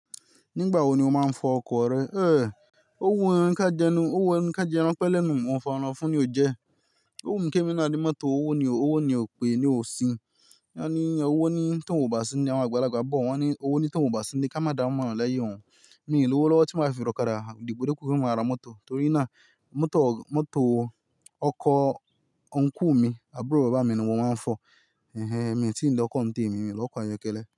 Nígbà wo ni o máa ń fọ ọkọ̀ rẹ? Owu ká jẹnu, owu ẹnu ká jẹ ẹran pẹ́ lẹ́nu, olóòfun ni ò jẹ́. Owú mí ké mi ná ní mọ́tò, owó ni ò, owó ni ò pé ni ò sí. Wọ́n ní owó ni tóun bà sí ni ilé, àgbàlagbà bọ̀, wọ́n ni owó ni tóun wọ bà sí ni ilé ká máa dá ìmọ̀ràn leyin òun. Mi l'owó lọ́wọ́ tí máa fi ra òkádà dépò dépò pe máa ra mọ́tò torí náà mọ́tò, mọ́tò, ọkọ̀ uncle mí, àbúrò bàbá mi ni mo máa ń fọ̀. Mi o tí lọ́ ọkó nitémi, mi o ni ọkó ayọ́kẹ́lẹ́.